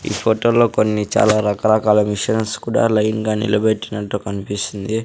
ఈ ఫొటోలో లో కొన్ని చాలా రకరకాల మిషన్స్ కూడా లైన్ గా నిలపెట్టినట్టు కన్పిస్తుంది.